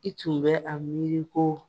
I tun bɛ a miiri ko